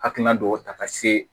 Hakilina dɔw ta ka se